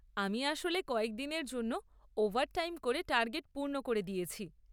আমি আসলে কয়েকদিনের জন্য ওভারটাইম করে টার্গেট পূর্ণ করে দিয়েছি।